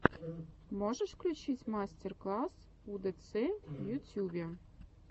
можешь включить мастер класс удэцэ в ютюбе